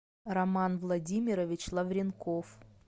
роман владимирович лавренков